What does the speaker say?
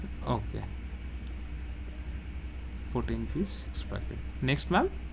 Okay fourteen piece ছ টা packet next ma'am,